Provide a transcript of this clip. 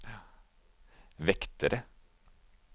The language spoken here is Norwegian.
vektere